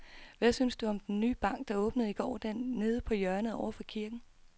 Hvad synes du om den nye bank, der åbnede i går dernede på hjørnet over for kirken?